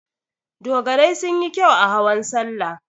Dogarai sun yi kyau a hawan salla.